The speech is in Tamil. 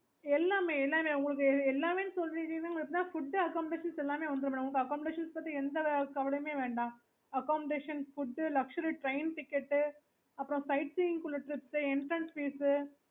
correct தான okayokay